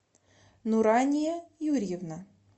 нурания юрьевна